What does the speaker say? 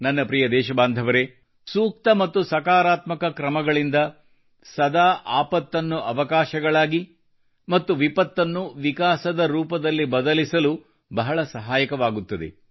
ನನ್ನ ಪ್ರಿಯ ದೇಶಬಾಂಧವರೆ ಸೂಕ್ತ ಸ್ಪಂದನೆಯಿಂದ ಮತ್ತು ಸಕಾರಾತ್ಮಕ ಕ್ರಮಗಳಿಂದ ಸದಾ ಆಪತ್ತನ್ನು ಅವಕಾಶಗಳಾಗಿ ಮತ್ತು ವಿಪತ್ತನ್ನು ವಿಕಾಸದ ರೂಪದಲ್ಲಿ ಬದಲಿಸಲು ಬಹಳ ಸಹಾಯಕವಾಗುತ್ತದೆ